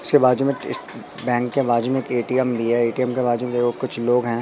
उसके बाजू में बैंक के बाजू में एक ए_टी_एम भी है ए_टी_एम के बाजू में देखो कुछ लोग हैं।